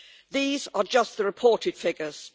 These are just the reported figures.